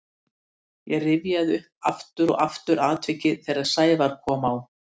Ég rifjaði upp aftur og aftur atvikið þegar Sævar kom á